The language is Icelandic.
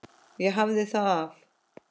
Ég hafði það af.